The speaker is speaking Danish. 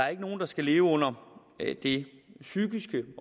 er nogen der skal leve under det psykiske